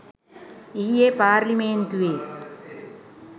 ඊයේ පාර්ලිමේන්තුවේ